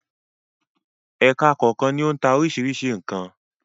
Ẹka kọ̀ọ̀kan ni ó ń ta oríṣiríṣi nǹkan.